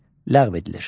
Ləğv edilir.